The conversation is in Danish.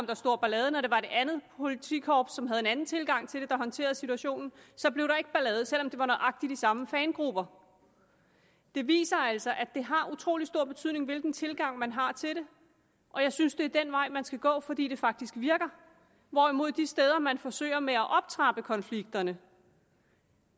der stor ballade og når det var det andet politikorps som havde en anden tilgang til det der håndterede situationen blev der ikke ballade selv om det var nøjagtig de samme fangrupper det viser altså at det har utrolig stor betydning hvilken tilgang man har til det og jeg synes det er den vej man skal gå fordi det faktisk virker hvorimod de steder man forsøger med at optrappe konflikterne